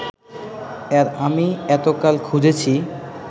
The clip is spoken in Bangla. আমি এতকাল খুঁজছি